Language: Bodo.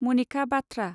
मनिका बाथ्रा